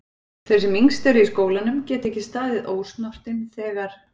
Þau sem yngst eru í skólanum geta ekki staðið ósnortin þegar